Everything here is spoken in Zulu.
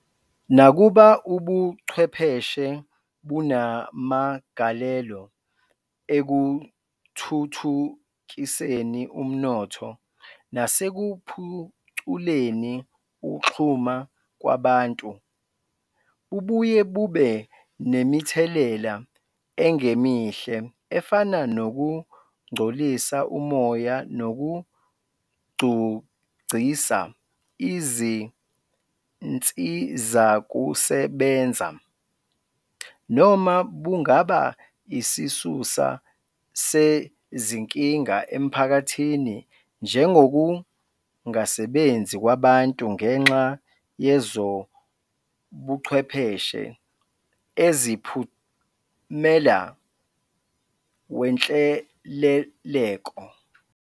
Nakuba Ubuchwepheshe bunamagalelo ekuthuthukiseni umnotho nasekuphuculeni ukuxhuma kwabantu, bubuye bube nemithelela engemihle efana nokungcolisa umoya nokugcugcisa izinsizakusebenza, noma bungaba isisusa sezinkinga emphakathini njengokungasebenzi kwabantu ngenxa yezobuchwepheshe eziwphumela wenhleleleko.